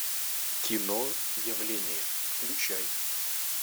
кино явление включай